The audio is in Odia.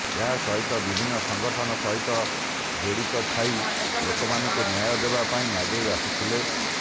ଏହା ସହିତ ବିିଭିନ୍ନ ସଂଗଠନ ସହିତ ଯୋଡିତ ଥାଇ ଲୋକମାନଙ୍କୁ ନ୍ୟାୟ ଦେବା ପାଇଁ ଆଗେଇ ଆସୁଥିଲେ